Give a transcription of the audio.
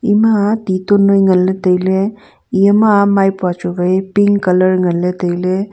ema ti ton noi nganley tailey eyama maipua chu wai pink colour nganley tailey.